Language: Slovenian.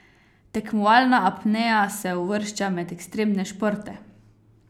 Tekmovalna apnea se uvršča med ekstremne športe.